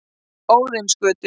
Óðinsgötu